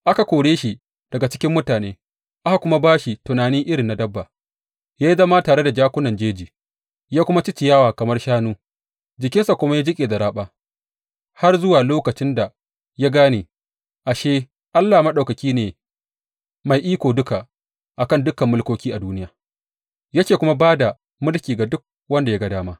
Aka kore shi daga cikin mutane aka kuma ba shi tunani irin na dabba; ya yi zama tare da jakunan jeji, ya kuma ci ciyawa kamar shanu; jikinsa kuma ya jiƙe da raɓa, har zuwa lokacin da ya gane, ashe, Allah Maɗaukaki ne mai iko duka a kan dukan mulkoki a duniya, yake kuma ba da mulki ga duk wanda ya ga dama.